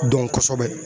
Dɔn kosɛbɛ